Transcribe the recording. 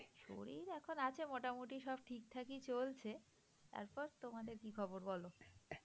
শরীর এখন আমাদের আছে মোটামুটি সব ঠিকঠাক চলছে তারপর তোমাদের কি খবর বলো?